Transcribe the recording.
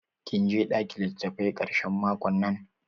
Kin je ɗakin litattafai ƙarshen makon nan?